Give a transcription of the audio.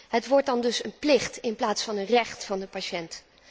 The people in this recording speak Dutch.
Het wordt dan dus een plicht in plaats van een recht van de patiënt.